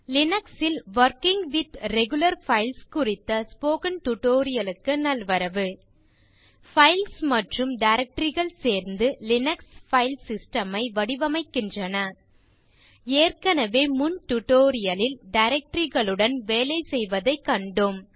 Linux ல் working with regular files குறித்த spoken tutorial க்கு நல்வரவு பைல்ஸ் மற்றும் directoryகள் சேர்ந்து லினக்ஸ் பைல் சிஸ்டம் ஐ வடிவமைக்கின்றன ஏற்கனவே முன் டியூட்டோரியல் லில் டைரக்டரி களுடன் வேலை செய்வதை கண்டோம்